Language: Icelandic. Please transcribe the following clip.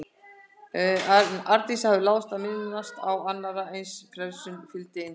En Arndísi hafði láðst að minnast á að annarri eins frelsun fylgdi einsemd.